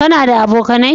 Ka na da abokanai?